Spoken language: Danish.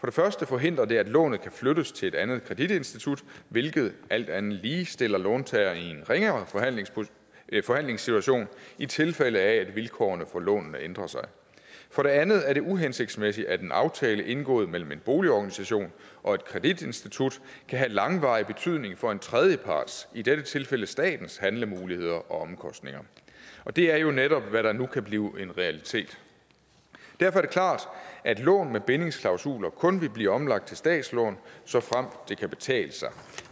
det første forhindrer det at lånet kan flyttes til et andet kreditinstitut hvilket alt andet lige stiller låntager i en ringere forhandlingssituation i tilfælde af at vilkårene for lånene ændrer sig for det andet er det uhensigtsmæssigt at en aftale indgået mellem en boligorganisation og et kreditinstitut kan have langvarig betydning for en tredjeparts i dette tilfælde statens handlemuligheder og omkostninger og det er jo netop hvad der nu kan blive en realitet derfor er det klart at lån med bindingsklausuler kun vil blive omlagt til statslån såfremt det kan betale sig